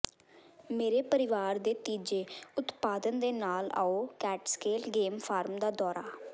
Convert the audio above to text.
ਮੇਰੇ ਪਰਿਵਾਰ ਦੇ ਤੀਜੇ ਉਤਪਾਦਨ ਦੇ ਨਾਲ ਆਉ ਕੈਟਸਕੇਲ ਗੇਮ ਫਾਰਮ ਦਾ ਦੌਰਾ